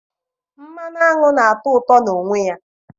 mmanụ aṅụ na-atọ ụtọ na onwe ya.